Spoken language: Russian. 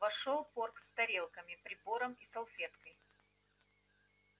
вошёл порк с тарелками прибором и салфеткой